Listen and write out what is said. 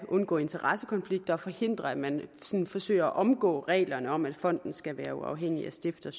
undgå interessekonflikter og forhindre at man sådan forsøger at omgå reglerne om at fonden skal være uafhængig af stifter